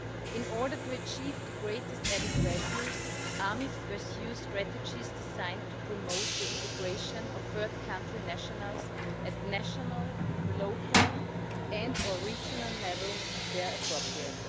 In order to achieve the greatest added value, AMIF pursues strategies designed to promote the integration of third country nationals at national, local and or regional level, where appropriate.